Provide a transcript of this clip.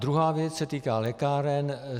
Druhá věc se týká lékáren.